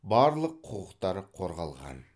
барлық құқықтар қорғалған